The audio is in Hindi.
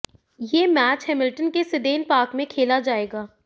ये मैच हैमिलटन के सीडेन पार्क में खेला जाएगा